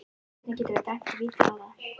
Hvernig geturðu dæmt víti á það?